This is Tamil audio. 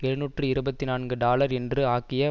எழுநூற்று இருபத்தி நான்கு டாலர் என்று ஆக்கிய